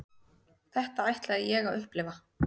Þetta ætlaði ég að upplifa.